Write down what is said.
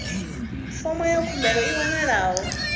fomo ya khumbelo i wanalaho